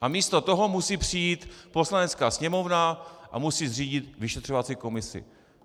A místo toho musí přijít Poslanecká sněmovna a musí zřídit vyšetřovací komisi.